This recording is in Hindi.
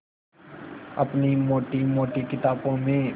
अपनी मोटी मोटी किताबों में